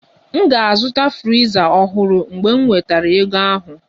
M ga-azụta friza ọhụrụ mgbe m nwetara ego ahụ